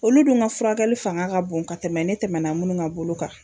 Olu dun ka furakɛli fanga ka bon ka tɛmɛ ne tɛmɛna munnu ka bolo kan.